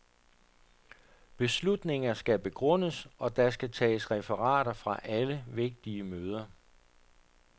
Beslutninger skal begrundes, og der skal tages referater fra alle vigtige møder.